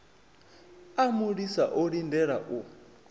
a mulisa o lindela u